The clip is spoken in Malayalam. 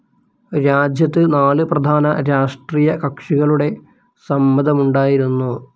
രാജ്യത്തെ നാല് പ്രധാന രാഷ്ട്രീയ കക്ഷികളുടെ സമ്മതമുണ്ടായിരുന്നു.